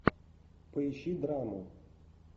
поищи драму